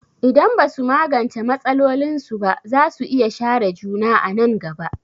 Idan ba su magance matsalolinsu ba, za su iya share juna a nan gaba.